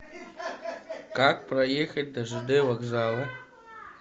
как проехать до жд вокзала